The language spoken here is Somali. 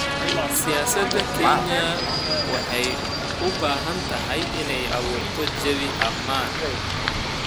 Siyaasadda Kenya waxay u baahan tahay inay abuurto jawi ammaan.